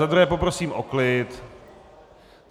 Za druhé poprosím o klid!